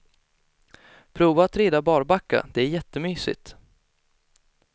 Prova att rida barbacka, det är jättemysigt.